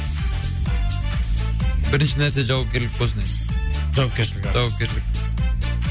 бірінші нәрсе жауапкерлік болсын жауапкершілік жауапкершілік